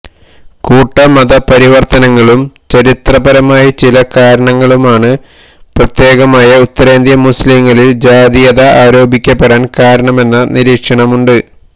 കൂട്ടമതപരിവര്ത്തനങ്ങളും ചരിത്രപരമായി ചില കാരണങ്ങളുമാണ് പ്രത്യേകമായ ഉത്തരേന്ത്യന് മുസ്ലിംകളില് ജാതീയത ആരോപിക്കപ്പെടാന് കാരണമെന്ന നിരീക്ഷണമുണ്ട്